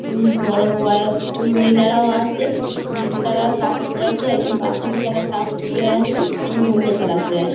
উমঃ বড়ো বয়স্ক মহিলারাও আছেনীল কালার কাপড় পরে আছে একজন বাসন্তী কালার কাপড় পরে আছে একজন হলদে কালার পরে আছে।